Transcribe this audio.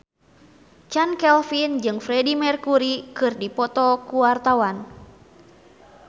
Chand Kelvin jeung Freedie Mercury keur dipoto ku wartawan